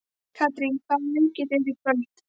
Katrín, hvaða leikir eru í kvöld?